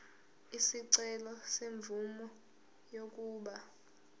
isicelo semvume yokuba